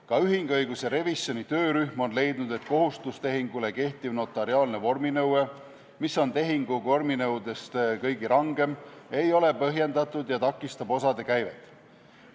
Ka ühinguõiguse revisjoni töörühm on leidnud, et kohustustehingule kehtiv notariaalne vorminõue, mis on tehingu vorminõuetest kõige rangem, ei ole põhjendatud ja takistab osade käivet.